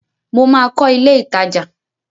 Mo máa kọ́ ilé ìtajà.